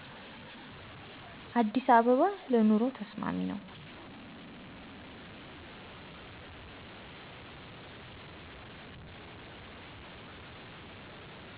አዲስ አበባ ለስራ ለኑሮ ተስማሚ ነው